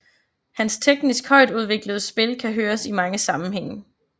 Hans teknisk højtudviklede spil kan høres i mange sammenhænge